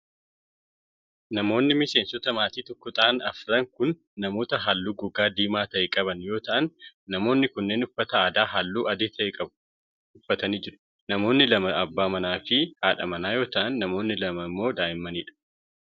Namoonni miseensota maatii tokkoo ta'an afran kun namoota haalluu gogaa diimaa ta'e qaban yoo ta'an, namoonni kunneen uffata aadaa haalluu adii ta'e qabu uffatanii jiru. Namoonni lama abbaa manaa fi haadha manaa yoo ta'an ,namoonni lama immoo daa'imman dha.